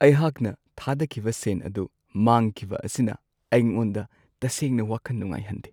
ꯑꯩꯍꯥꯛꯅ ꯊꯥꯗꯈꯤꯕ ꯁꯦꯟ ꯑꯗꯨ ꯃꯥꯡꯈꯤꯕ ꯑꯁꯤꯅ ꯑꯩꯉꯣꯟꯗ ꯇꯁꯦꯡꯅ ꯋꯥꯈꯟ ꯅꯨꯡꯉꯥꯏꯍꯟꯗꯦ꯫